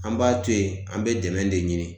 An b'a to yen, an be dɛmɛ de ɲini.